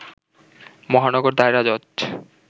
মহানগর দায়রা জজ